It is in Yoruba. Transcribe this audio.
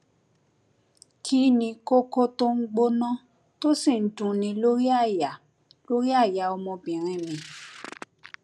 kí ni kókó tó ń gbóná tó sì ń dunni lórí àyà lórí àyà ọmọbìnrin mi